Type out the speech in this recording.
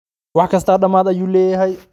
Wax kisto dhamad ayu leyhy.